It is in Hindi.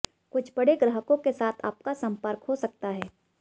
कुछ बड़े ग्राहकों के साथ आपका संपर्क हो सकता है